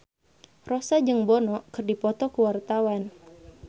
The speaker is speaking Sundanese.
Rossa jeung Bono keur dipoto ku wartawan